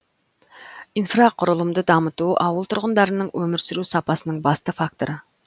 инфрақұрылымды дамыту ауыл тұрғындарының өмір сүру сапасының басты факторы